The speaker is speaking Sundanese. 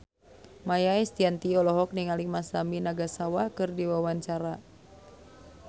Maia Estianty olohok ningali Masami Nagasawa keur diwawancara